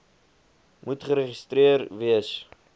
moet geregistreer wees